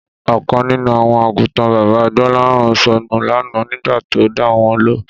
Ọ̀kan nínú àwọn àgùntàn bàbá Gbọ́láhàn sọnù lánàá nígbà tó dà wọ́n lọ